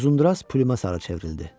Uzundraz Plym asara çevrildi.